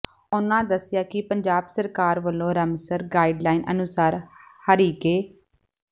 ਉਨਾਂ ਦੱਸਿਆ ਕਿ ਪੰਜਾਬ ਸਰਕਾਰ ਵੱਲੋਂ ਰਮਸਰ ਗਾਈਡਲਾਈਨ ਅਨੁਸਾਰ ਹਰੀਕੇ